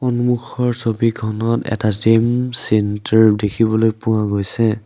সন্মুখৰ ছবিখনত এটা জিম চেন্টাৰ দেখিবলৈ পোৱা গৈছে।